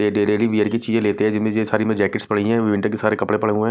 ये wheelchair लेते हैं जिसमें ये सारी जैकेट्स पड़ी हुई हैं और विंटर के सारे कपड़े पड़े हुए हैं।